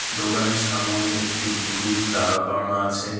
দোকানের সামোনে একটি পুতুল দাঁড়া করানো আছে .